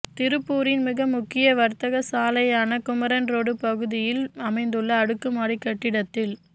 திருப்பூரின் மிக முக்கிய வர்த்தக சாலையான குமரன் ரோடு பகுதியில் அமைந்துள்ள அடுக்குமாடி கட்டடத்தில்